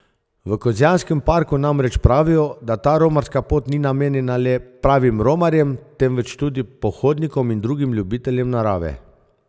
V Kozjanskem parku namreč pravijo, da ta romarska pot ni namenjena le pravim romarjem, temveč tudi pohodnikom in drugim ljubiteljem narave.